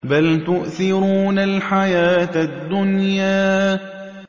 بَلْ تُؤْثِرُونَ الْحَيَاةَ الدُّنْيَا